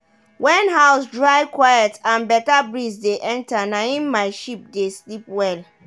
wen house dry quiet and better breeze dey enter naim my sheep dey sleep well.